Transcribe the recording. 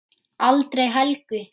Aldrei Helgu.